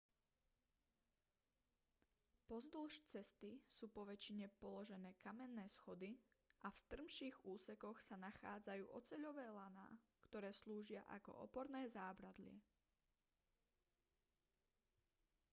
pozdĺž cesty sú poväčšine položené kamenné schody a v strmších úsekoch sa nachádzajú oceľové laná ktoré slúžia ako oporné zábradlie